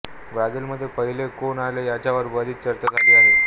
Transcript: ब्राझीलमध्ये पहिले कोण आले याच्यावर बरीच चर्चा झाली आहे